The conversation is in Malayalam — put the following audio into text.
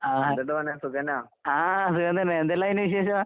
ആഹ് ആഹ് സുഖം തന്നെ. എന്തെല്ലായിന് വിശേഷം?